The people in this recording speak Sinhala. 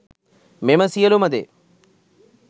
මෙම සියලු ම දේ